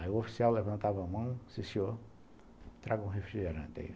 Aí o oficial levantava a mão e disse, o senhor, me traga um refrigerante.